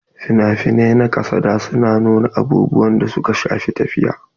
Fina-finai na kasada su na nuna abubuwan da suka shafi tafiya.